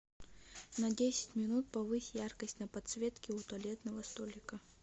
на десять минут повысь яркость на подсветке у туалетного столика